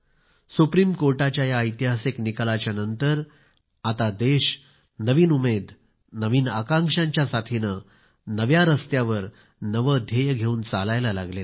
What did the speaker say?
supreme कोर्टाच्या या ऐतिहासिक निकालानंतर आता देश नवीन उमेद नवीन आकांक्षांच्या साथीने नव्या मार्गावर नवे ध्येय घेऊन वाटचाल करु लागला आहे